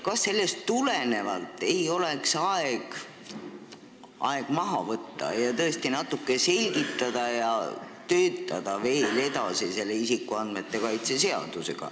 Kas sellest tulenevalt ei oleks vaja aeg maha võtta, seda tõesti natuke selgitada ja töötada isikuandmete kaitse seadusega veel edasi?